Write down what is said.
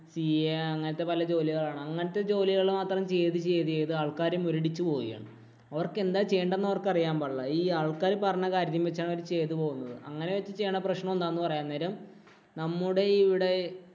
CA അങ്ങനത്തെ പല ജോലികളാണ്. അങ്ങനത്തെ ജോലികള് മാത്രം ചെയ്ത് ചെയ്ത് ആള്‍ക്കാര് മുരടിച്ചു പോകുകയാണ്. അവര്‍ക്ക് എന്താ ചെയ്യേണ്ടതെന്ന് അവര്‍ക്ക് അറിയാന്‍ പാടില്ല. ഈ ആള്‍ക്കാര് പറഞ്ഞ കാര്യം വച്ചാണ് അവര് ചെയ്തു പോകുന്നത്. അങ്ങനെ വച്ച് ചെയ്യുകയാണെ പ്രശ്നം എന്താന്നു പറയാം. അന്നേരം നമ്മുടെ ഇവിടെ